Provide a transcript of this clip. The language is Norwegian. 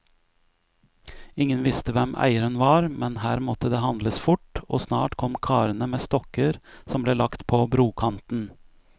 Ingen visste hvem eieren var, men her måtte det handles fort, og snart kom karene med stokker som ble lagt på brokanten.